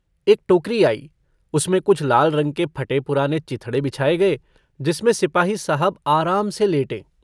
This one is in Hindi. एक टोकरी आई। उसमें कुछ लाल रंग के फटे-पुराने चिथड़े बिछाए गए जिसमें सिपाही साहब आराम से लेटें।